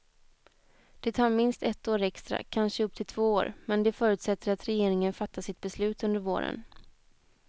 Det tar minst ett år extra, kanske upp till två år, men det förutsätter att regeringen fattar sitt beslut under våren.